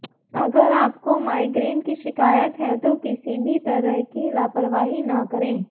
अगर आपको माइग्रेन की शिकायत है तो किसी भी तरह की लापरवाही न करें